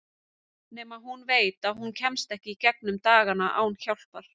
Nema hún veit að hún kemst ekki í gegnum dagana án hjálpar.